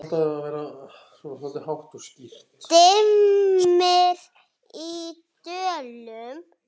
Dimmir í dölum.